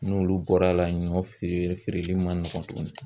N'olu bɔr'a la ɲɔ feere feereli man nɔgɔn tuguni.